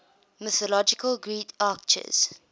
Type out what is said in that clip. mythological greek archers